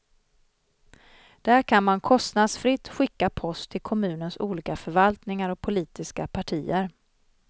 Där kan man kostnadsfritt skicka post till kommunens olika förvaltningar och politiska partier.